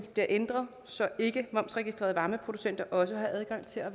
bliver ændret så ikkemomsregistrerede varmeproducenter også har adgang til at